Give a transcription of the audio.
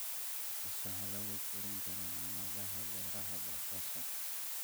Bees waxaa lagu korin karaa aagagga beeraha basasha.